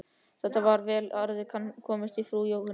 Þetta var vel að orði komist hjá frú Jóhönnu.